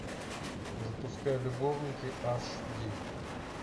запускай любовники аш ди